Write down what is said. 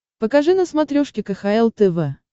покажи на смотрешке кхл тв